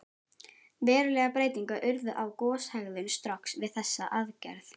Verulegar breytingar urðu á goshegðun Strokks við þessa aðgerð.